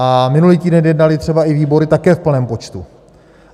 A minulý týden jednaly třeba i výbory také v plném počtu.